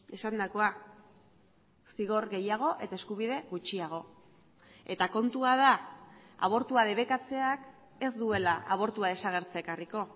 esandakoa zigor gehiago eta eskubide gutxiago eta kontua da abortua debekatzeak ez duela abortua desagertzea ekarriko